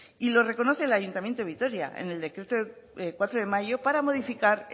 y lo reconoce el ayuntamiento de vitoria en el decreto cuatro de mayo para modificar